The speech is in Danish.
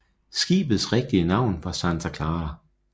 Skibets rigtige navn var Santa Clara